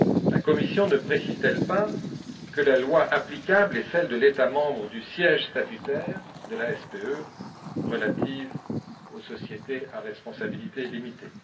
La Commission ne précise t elle pas que la loi applicable est celle de l'État membre du siège statutaire de la SPE relative aux sociétés à responsabilité limitée?